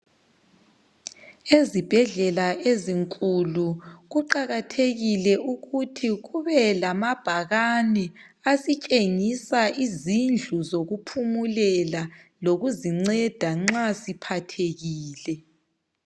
Ezibhedlela ezinkulu kuqakathekile ukuthi kube lamabhakane asitshengisa izindlu zokuphumulela lokuzinceda nxa siphathekile.